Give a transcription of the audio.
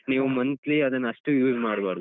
ನೀವು monthly ಅದನ್ನ ಅಷ್ಟು use ಮಾಡ್ಬಾರ್ದು.